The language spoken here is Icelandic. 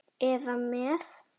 eða með